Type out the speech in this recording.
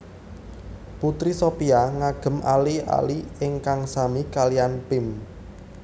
Putri Shopia ngagem ali ali ingkang sami kaliyan Pim